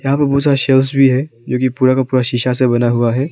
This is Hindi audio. यहां पे बहुत सारा सेल्स भी है जो की पूरा का पूरा शिशा से बना हुआ है।